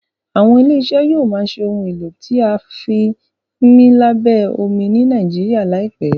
àwọn ilé iṣẹ yóò má ṣe Ohun èlò tí a fi ńmí lábẹ́ omi ní Nàìjíríà láìpé.